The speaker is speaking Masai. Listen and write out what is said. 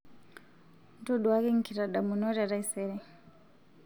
ntoduaki nkitadamunot e taisere